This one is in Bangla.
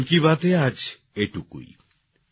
মন কি বাতে আজ এটুকুই